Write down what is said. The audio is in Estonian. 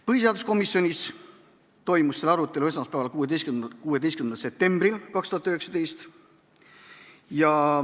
Põhiseaduskomisjonis toimus selle eelnõu arutelu esmaspäeval, 16. septembril 2019.